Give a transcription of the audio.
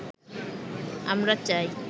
আমরা চাই